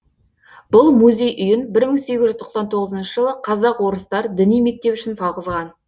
бұл музей үйін бір мың сегіз жүз тоқсан тоғызыншы жылы қазақ орыстар діни мектеп үшін салғызған